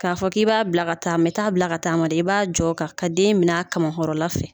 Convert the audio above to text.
K'a fɔ k'i b'a bila ka taa i t'a bila ka taama dɛ i b'a jɔ ka ka den minɛ a kama hɔrɔnla fɛ